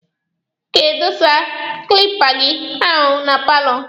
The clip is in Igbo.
Ị ga-adọsa kilipa gị ahụ na paalọ.